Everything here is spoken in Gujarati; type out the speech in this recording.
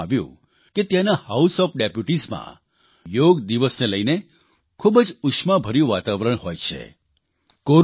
મને જણાવવામાં આવ્યું છે કે ત્યાંના હાઉસ ઓએફ ડેપ્યુટીઝ માં યોગ દિવસને લઇને ખૂબ જ ઉષ્માભર્યું વાતાવરણ હોય છે